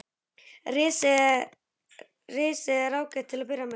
Risið er ágætt til að byrja með.